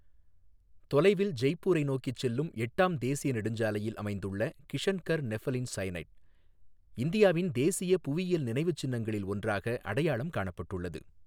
தொலைவில் ஜெய்ப்பூரை நோக்கிச் செல்லும் எட்டாம் தேசிய நெடுஞ்சாலையில் அமைந்துள்ள கிஷன்கர் நெஃபலின் சயெனைட், இந்தியாவின் தேசிய புவியியல் நினைவுச்சின்னங்களில் ஒன்றாக அடையாளம் காணப்பட்டுள்ளது.